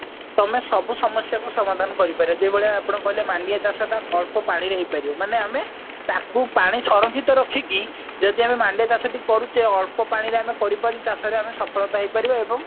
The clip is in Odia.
ତମେ ସବୁ ସମସ୍ଯା କୁ ସମାଧାନ କରିପାରିବ ଯୋଉ ଭଳିଆ ଆପଣ କହିଲେ ମାଣ୍ଡିଆ ଚାଷ ଟା ଅଳ୍ପ ପାଣିରେ ହେଇପାରିବ ମାନେ ତାକୁ ପାଣି ସରଂକ୍ଷିତ ରଖିକି ଜଡ ଆମେ ମାଣ୍ଡିଆ ଚାଷ ଟେ କରୁଛେ ଅଳ୍ପ ପାଣିରେ ଆମେ କରିପାରୁଛେ ଚାଷରେ ଆମେ ସଫଳତା ହେଇ ପାରିବା ଏବଂ